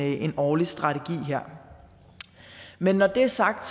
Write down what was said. en årlig strategi her men når det er sagt